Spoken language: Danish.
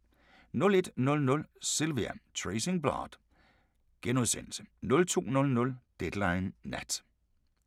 01:00: Sylvia: Tracing Blood * 02:00: Deadline Nat